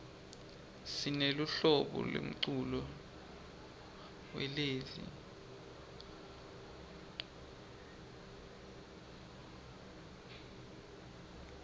sineluhlobo lemculo welezi